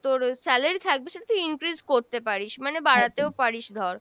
তোর salary থাকবে সেটা তুই increase করতে পারিস মানে বাড়াতেও পারিস ধর।